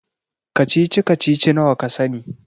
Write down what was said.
Kacici-kacici nawa ka sani?